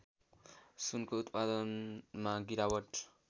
सुनको उत्पादनमा गिरावट